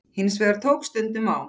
Hins vegar tók stundum á.